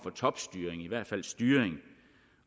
topstyring i hvert fald styring